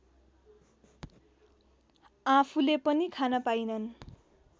आँफूले पनि खान पाइनन्